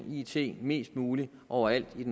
it mest muligt overalt i